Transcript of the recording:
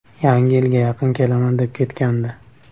Yangi yilga yaqin kelaman deb ketgandi.